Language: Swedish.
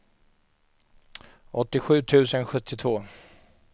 åttiosju tusen sjuttiotvå